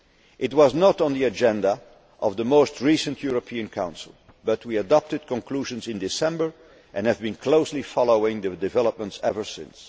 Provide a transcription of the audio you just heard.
well. It was not on the agenda of the most recent European Council, but we adopted conclusions in December and have been closely following developments there ever since.